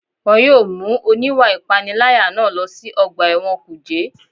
Wọ́n yóò mú oníwà ìpániláyà náà lọ sí ọgbà ẹ̀wọ̀n kùjé